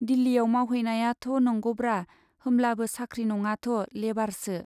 दिल्लीयाव मावहैनायाथ' नंगौब्रा, होमब्लाबो साख्रि नङाथ', लेबारसो।